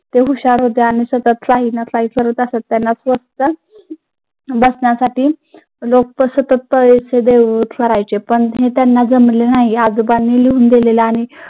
ते हुशार होते आणि सतत काही ना काही करत असत. त्यांना लोक सुद्धा पण ते त्यांना जमले नाही.